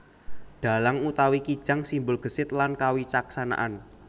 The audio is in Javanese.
Dhalang utawi kijang simbol gesit lan kawicaksanaan